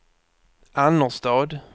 Annerstad